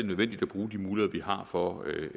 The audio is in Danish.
nødvendigt at bruge de muligheder vi har for at